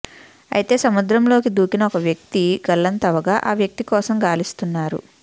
అయితే సముద్రంలోకి దూకిన ఒక వ్యక్తి గల్లంతవగా ఆ వ్యక్తి కోసం గాలిస్తున్నారు